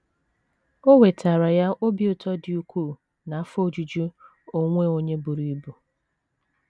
O wetaara ya obi ụtọ dị ukwuu na afọ ojuju onwe onye buru ibu.